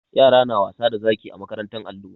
Yara na wasa da zaki a makarantar allo.